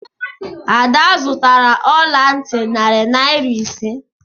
Ada zụtara ọla ntị narị naira ise.